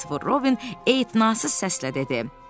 Kristofer Robin ehtinazsız səslə dedi.